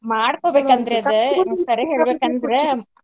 ಮಾಡ್ಕೋ ಬೇಕಂತ್ರಿ ಅದ್ ಕರೆ ಹೇಳ್ಬೆಕ್ ಅಂದ್ರ.